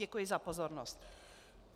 Děkuji za pozornost.